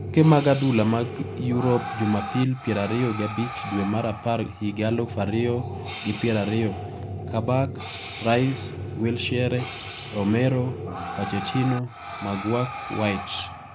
Tuke mag adhula mag Europe Jumapil pier ariyo gi abich dwe mar apar higa aluf ariyo gi pier ariyo: Kabak, Rice, Wilshere, Romero, Pochettino, McGurk, White